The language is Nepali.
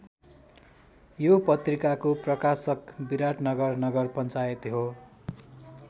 यो पत्रिकाको प्रकाशक विराटनगर नगर पञ्चायत हो।